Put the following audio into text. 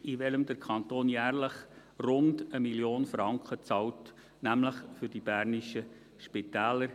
für den der Kanton jährlich rund 1 Mio. Franken bezahlt, nämlich für die bernischen Spitäler.